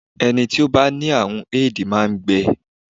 Ẹni tí ó bá ní àrùn Éèdì máa ń gbẹ